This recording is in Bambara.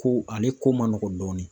Ko ale ko man nɔgɔn dɔɔnin